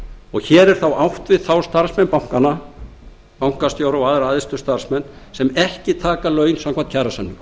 hér er þá átt við aðra starfsmenn bankanna bankastjóra og aðra æðstu starfsmenn sem ekki taka laun samkvæmt kjarasamningum